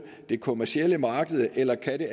det kommercielle marked eller kan det